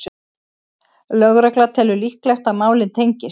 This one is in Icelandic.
Lögregla telur líklegt að málin tengist